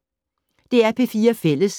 DR P4 Fælles